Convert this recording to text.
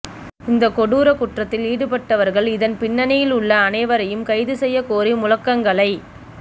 இந்த கொடூர குற்றத்தில் ஈடுபட்டவர்கள் இதன் பின்னணியில் உள்ள அனைவரையும் கைது செய்யக் கோரி முழக்கங்களை